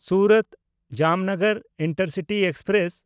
ᱥᱩᱨᱟᱛ–ᱡᱟᱢᱱᱚᱜᱚᱨ intercity express